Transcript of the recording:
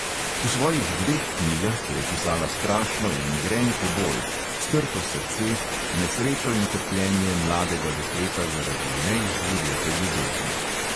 V svojih dveh knjigah je opisala strašno in grenko bol, strto srce, nesrečo in trpljenje mladega dekleta zaradi neizživete ljubezni.